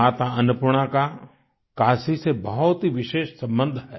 माता अन्नपूर्णा का काशी से बहुत ही विशेष संबंध है